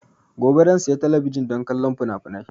Gobe zan siya talabijin don kallon finafinai